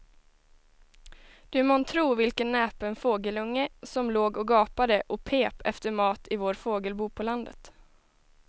Du må tro vilken näpen fågelunge som låg och gapade och pep efter mat i vårt fågelbo på landet.